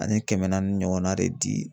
Ani kɛmɛ naani ɲɔgɔnna de di.